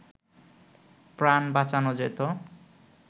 প্রাণ বাঁচানো যেত